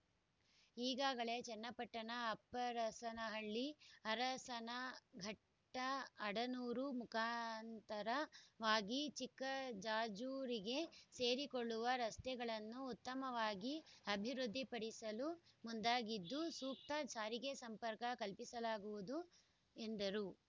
ಈಗಾಗಲೇ ಚನ್ನಪಟ್ಟಣ ಅಪ್ಪರಸನಹಳ್ಳಿ ಅರಸನಘಟ್ಟ ಆಡನೂರು ಮುಖಾಂತರವಾಗಿ ಚಿಕ್ಕಜಾಜೂರಿಗೆ ಸೇರಿಕೊಳ್ಳುವ ರಸ್ತೆಗಳನ್ನು ಉತ್ತಮವಾಗಿ ಅಭಿವೃದ್ಧಿಪಡಿಸಲು ಮುಂದಾಗಿದ್ದು ಸೂಕ್ತ ಸಾರಿಗೆ ಸಂಪರ್ಕ ಕಲ್ಪಿಸಲಾಗುವುದು ಎಂದರು